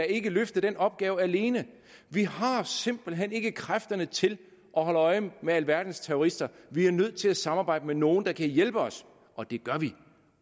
ikke kan løfte den opgave alene vi har simpelt hen ikke kræfterne til at holde øje med alverdens terrorister vi er nødt til at samarbejde med nogle der kan hjælpe os og det gør vi